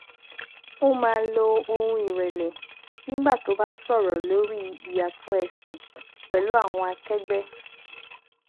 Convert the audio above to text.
ó máa lo ohùn ìrẹlẹ nígbà tó bá sọrọ lórí ìyàtọ ẹsìn pẹlú àwọn akẹgbẹ